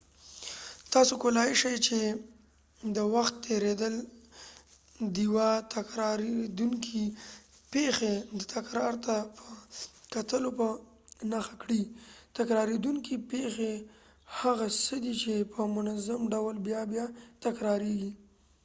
تاسو کولای شي چې د وخت تیریدل ديوه تکراریدونکې پیښی د تکرار ته په کتلو په نښه کړي تکراریدونکې پیښی هغه څه دي چې په منظم ډول بیا بیا تکراریږی